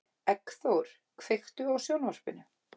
Eggþór, kveiktu á sjónvarpinu.